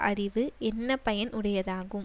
அறிவு என்ன பயன் உடையதாகும்